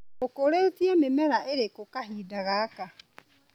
ũkũrĩtie mĩmera ĩrĩkũ kahinda gaka.